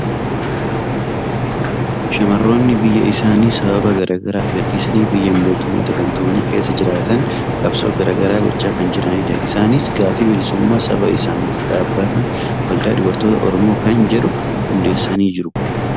Shamarroonni biyya isaanii sababa garaa garaaf gadhiisanii biyya Mootummoota gamtoomanii keessa jiraatan qabsoo garaa garaa gochaa kan jiranidha. Isaanis gaaffii bilisummaa saba isaaniif dhaabbata Waldaa Dubartoota Oromoo kan jedhu hundeessanii jiru.